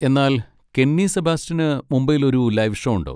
എന്നാൽ കെന്നി സെബാസ്റ്റ്യന് മുംബൈയിൽ ഒരു ലൈവ് ഷോ ഉണ്ട്.